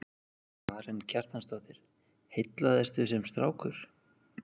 Karen Kjartansdóttir: Heillaðistu sem strákur?